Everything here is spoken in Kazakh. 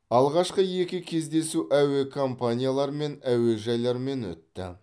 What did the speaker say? алғашқы екі кездесу әуе компаниялар мен әуежайлармен өтті